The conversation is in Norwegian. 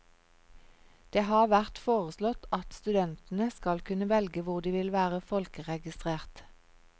Det har vært foreslått at studentene skal kunne velge hvor de vil være folkeregistrert.